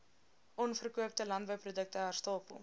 onverkoopte landbouprodukte herstapel